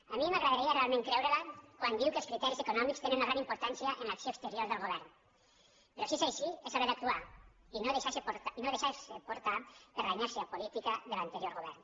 a mi m’agradaria realment creure la quan diu que els criteris econòmics tenen una gran importància en l’acció exterior del govern però si és així és hora d’actuar i no deixar se portar per la inèrcia política de l’anterior govern